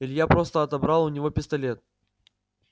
илья просто отобрал у него пистолет